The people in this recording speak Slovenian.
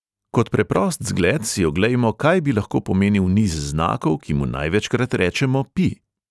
Kot preprost zgled si oglejmo, kaj bi lahko pomenil niz znakov, ki mu največkrat rečemo pi.